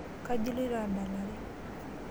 Kaji iloito adalare?